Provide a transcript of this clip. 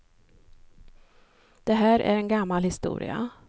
Det här är en gammal historia.